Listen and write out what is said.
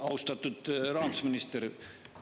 Austatud rahandusminister!